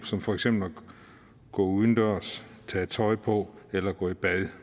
som for eksempel at gå udendørs tage tøj på eller gå i bad